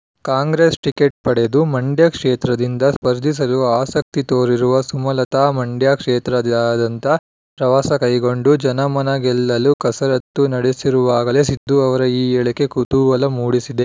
Congress ticket ಪಡೆದು ಮಂಡ್ಯ ಕ್ಷೇತ್ರದಿಂದ ಸ್ಪರ್ಧಿಸಲು ಆಸಕ್ತಿ ತೋರಿರುವ ಸುಮಲತಾ ಮಂಡ್ಯ ಕ್ಷೇತ್ರಾದ್ಯಂತ ಪ್ರವಾಸ ಕೈಗೊಂಡು ಜನಮನ ಗೆಲ್ಲಲು ಕಸರತ್ತು ನಡೆಸಿರುವಾಗಲೇ ಸಿದ್ದು ಅವರ ಈ ಹೇಳಿಕೆ ಕುತೂಹಲ ಮೂಡಿಸಿದೆ